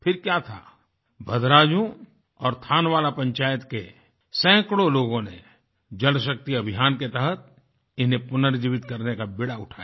फिर क्या था भद्रायुं और थानवाला पंचायत के सैकड़ों लोगों ने जलशक्ति अभियान के तहत इन्हें पुनर्जीवित करने का बीड़ा उठाया